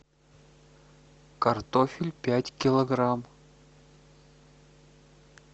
картофель пять килограмм